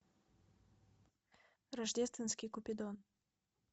рождественский купидон